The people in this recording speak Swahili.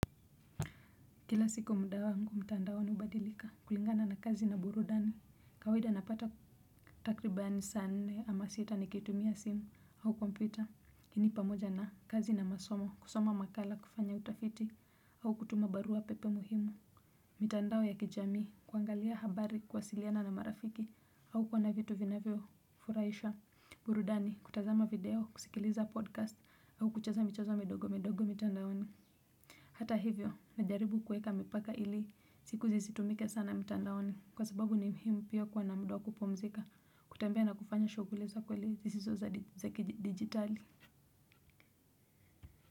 Kila siku muda wangu mtandaoni ubadilika kulingana na kazi na burudani. Kawaida napata takribani saa nne ama sita nikitumia simu au kompyuta. Lakini pamoja na kazi na masomo kusoma makala kufanya utafiti au kutuma barua pepe muhimu. Mtandao ya kijami kuangalia habari kuwasiliana na marafiki au kuwa na vitu vinavyofuraisha. Burudani kutazama video kusikiliza podcast au kucheza michezo midogo midogo mitandaoni. Hata hivyo, najaribu kueka mipaka ili, siku zisitumike sana mitandaoni, kwa sababu ni muhimu pia kuwa na muda wa kupumzika, kutembea na kufanya shughuli za kweli zisizo za digitali.